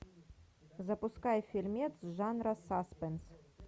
запускай фильмец жанра саспенс